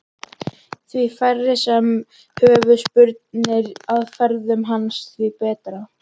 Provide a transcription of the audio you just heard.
Því færri sem höfðu spurnir af ferðum hans því betra.